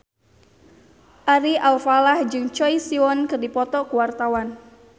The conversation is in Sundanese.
Ari Alfalah jeung Choi Siwon keur dipoto ku wartawan